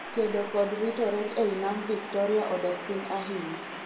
kedo kod rito rech ei nam Victoria odok piny ahinya